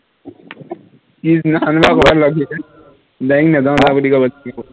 পিছ দিনাখনৰ পৰা ঘৰত love letter, বেংক নাযাও না বুলি কব তেতিয়া